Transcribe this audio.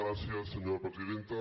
gràcies senyora presidenta